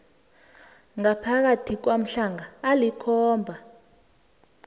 ngaphakathi kwamalanga alikhomba